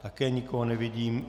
Také nikoho nevidím.